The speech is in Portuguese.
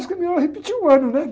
Eu acho que melhor repetir um ano, né?